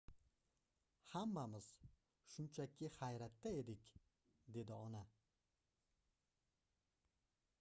hammamiz shunchaki hayratda edik dedi ona